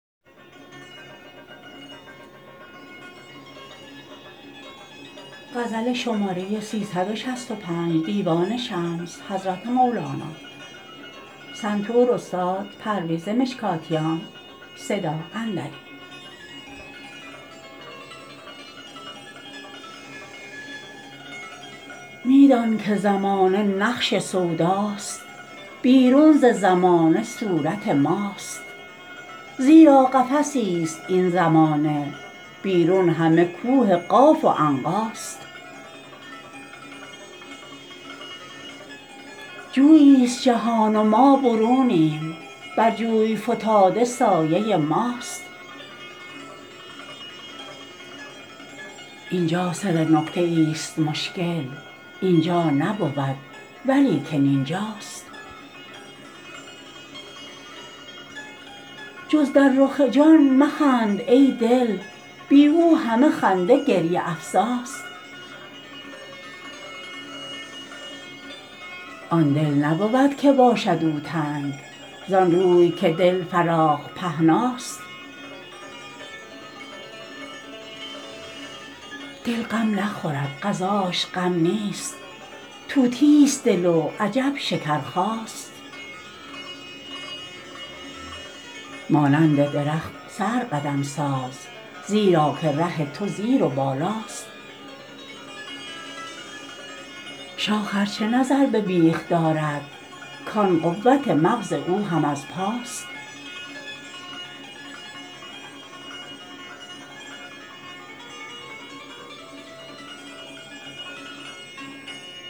می دان که زمانه نقش سوداست بیرون ز زمانه صورت ماست زیرا قفسی ست این زمانه بیرون همه کوه قاف و عنقاست جویی ست جهان و ما برونیم بر جوی فتاده سایه ماست این جا سر نکته ای ست مشکل این جا نبود ولیکن این جاست جز در رخ جان مخند ای دل بی او همه خنده گریه افزاست آن دل نبود که باشد او تنگ زان روی که دل فراخ پهناست دل غم نخورد غذاش غم نیست طوطی ست دل و عجب شکرخاست مانند درخت سر قدم ساز زیرا که ره تو زیر و بالاست شاخ ار چه نظر به بیخ دارد کان قوت مغز او هم از پاست